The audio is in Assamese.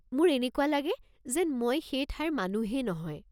মোৰ এনেকুৱা লাগে যেন মই সেই ঠাইৰ মানুহেই নহয়।